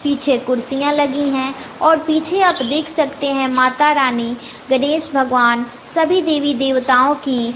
पीछे कुर्सियां लगी है और पीछे आप देख सकते है माता रानी गणेश भगवान सभी देवी देवताओं की--